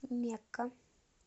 мекка